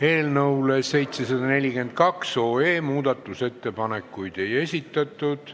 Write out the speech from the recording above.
Eelnõu 742 kohta muudatusettepanekuid ei esitatud.